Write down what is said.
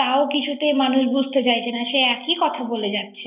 তাও কিছুতে মানুষ বুঝতে চাইছে না সেই একই কথা বলে যাচ্ছে।